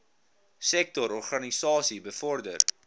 sektor organisasies bevorder